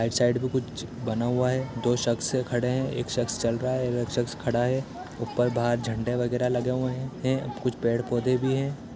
Right side में कुछ बना हुआ है दो सख्स खड़े हैं एक सख्स चल रहा है और एक सख्स खड़ा है ऊपर बाहर झंडे वगैरह लगे हुए हें हैं कुछ पेड़-पौधे भी हैं।